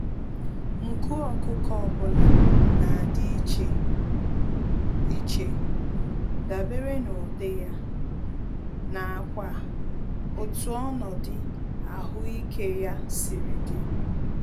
Nku ọkụkọ ọbula nadi íchè iche, dabere n'ụdị ya, n'akwa otú ọnọdụ ahụike ya siri dị.